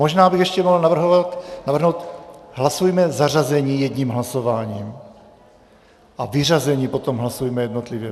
Možná bych ještě mohl navrhnout: hlasujme zařazení jedním hlasováním a vyřazení potom hlasujme jednotlivě.